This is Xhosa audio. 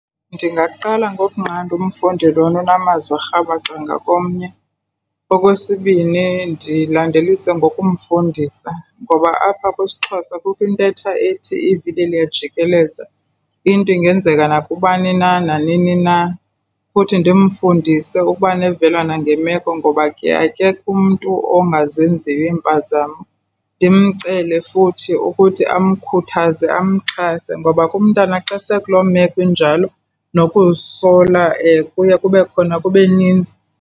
Ndingaqala ngokokunqanda umfundi lona unamazwi arhabaxa ngakomnye. Okwesibini ndilandelise ngokumfundisa ngoba apha kwisiXhosa kukho intetha ethi ivili liyajikeleza, into ingenzeka nakubani na nanini na. Futhi ndimfundise ukuba nevelwano ngemeko ngoba akekho umntu ongazenziyo iimpazamo. Ndimcele futhi ukuthi amkhuthaze amxhase ngoba ke umntana xa sele ekuloo meko injalo, nokuzisola kuye kube khona kube ninzi.